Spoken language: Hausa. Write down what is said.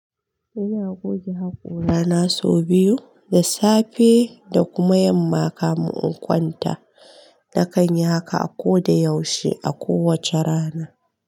Ina goge hakora na sau biyu, da safe da kuma yamma kamin in kwanta. Nakan yi haka ko da yaushe a kowace rana.